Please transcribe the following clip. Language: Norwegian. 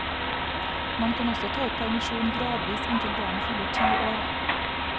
Man kan også ta ut permisjonen gradvis inntil barnet fyller ti år.